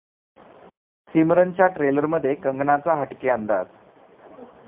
सिमरन'च्या ट्रेलरमध्ये कंगनाचा हटके अंदाज